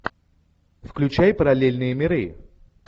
включай параллельные миры